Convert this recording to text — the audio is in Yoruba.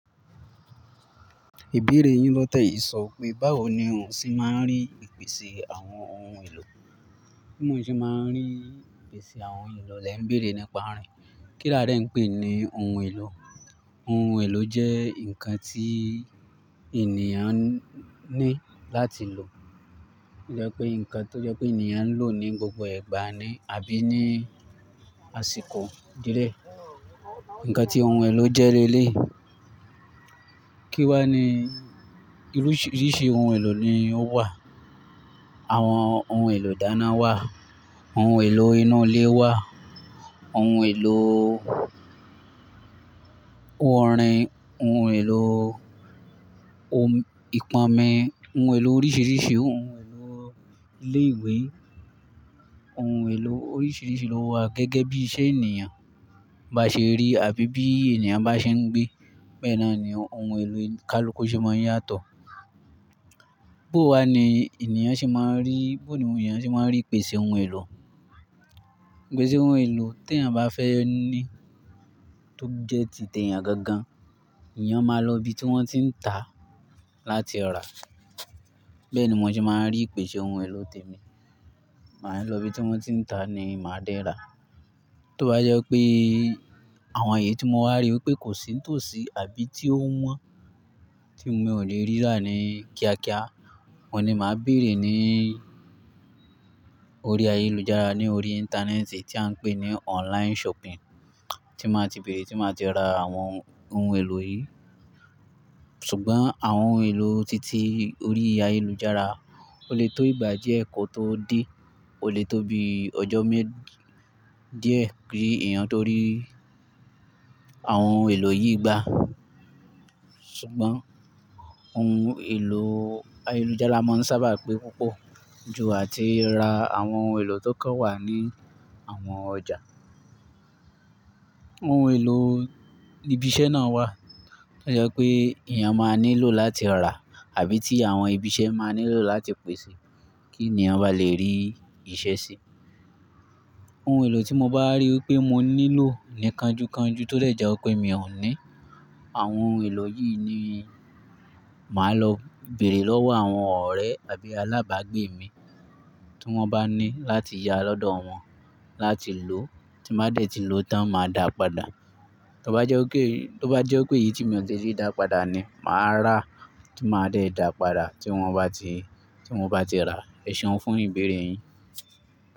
Ìbéèrè yín lọ́tẹ́ yìí sọ pé báwo ni òun ṣe máa ń rí ìpèsè àwọn ohun èlò? Bí mo ṣe máa ń rí ìpèsè àwọn ohun èlò lẹ̀ ń béèrè nípa rẹ̀. Kílà dẹ ń pè ní ohun èlò? Ohun èlò jẹ́ nǹkan tí ènìyàn ní láti lò. Jẹ́ pé nǹkan tó jẹ́ pé ènìyàn ń lò ní gbogbo ìgbà ni àbí ní àsìkò díẹ̀. Ǹkan tí ohun èlò jẹ́ lélèyi Kí wá ni oríṣi ohun èlò ni ó wà? Àwọn ohun èlò dáná wà, ohun èlò inú ilé wà, ohun èlò oòrín, ohun èlò ìpónmí, ohun èlò oríṣiríṣi, ohun èlò ilé ìwé, ohun èlò oríṣiríṣi ló wà gẹ́gẹ́ bí iṣẹ́ ènìyàn bá ṣe rí àbí bí ènìyàn bá ṣe ń gbé. Bẹ́ẹ̀ naa ni ohun èlò Kálukú ṣe máa ń yàtọ̀. Bó wà ni ènìyàn ṣe máa ń rí, bí òun ènìyàn ṣe máa ń rí ìpèsè ohun èlò? Ìpèsè ohun èlò tí ènìyàn bá fẹ́ ní tó jẹ́ ti tẹ̀ ènìyàn gangan, ènìyàn máa lọ ibi tí wọ́n tí ń ta láti rà. Bẹ́ẹ̀ ni mo ṣe máa ń rí ìpèsè ohun èlò témi. Màá lọ ibi tí wọ́n ti ń ta ni màá dé ra. Tó bá jẹ́ pé àwọn èyí tí mo wá rí wipé kò sì n tòsí àbí tí ó wọ́n, tí mí ò lè rí rá ni kíákíá, mo ni màá béèrè ní orí ayélujára, ní orí Íńtánẹ́ẹ̀tì tí à ń pè ní online shopping tí màá ti béèrè, tí màá ti ra àwọn ohun èlò yìí. Ṣùgbọ́n àwọn ohun èlò titi orí ayélujára o lè tó ìgbà díẹ̀ kò tó dé, o lè tó bi ọjọ́ mẹ́ díẹ̀ kí èèyàn tó rí àwọn ohun èlò yìí gbá. Ṣùgbọ́n ohun èlò ayélujára máa ń sábà pé púpọ̀ ju àti ra àwọn ohun èlò tó kàn wà ní àwọn ọjà. Ohun èlò ibi iṣẹ́ náà wà tó jẹ́ pé èèyàn máa nílò láti rà àbí tí àwọn ibi iṣẹ́ máa nílò láti pèsè kí ènìyàn bá lè rí iṣẹ́ ṣe. Ohun èlò tí mo bá rí wipé mo nílò ni kanju kanju tó dé jé wipé mi ò ní, àwọn ohun èlò yìí ni màá lọ béèrè lọ́wọ́ àwọn ọ̀rẹ́ àbí alábàágbé mi tí wọ́n bá ní láti yá lọ́dọ̀ wọn láti lò tí màá dẹ̀ ti lò ó tán, màá dàá padà. Tó bá jẹ́ wipé, tó bá jẹ́ wipé èyí tí mi ò ṣe ṣí dàá padà ni, màá rà á tí màá dẹ̀ dàá padà tí wọ́n bá ti, tí wọ́n bá ti rà á. Ẹ̀ṣeun fún ìbéèrè yín.